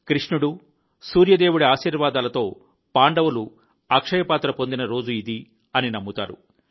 కృష్ణుడు సూర్యదేవుడి ఆశీర్వాదాలతో పాండవులు అక్షయ పాత్ర పొందిన రోజు ఇది అని నమ్ముతారు